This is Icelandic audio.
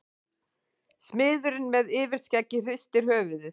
Smiðurinn með yfirskeggið hristir höfuðið.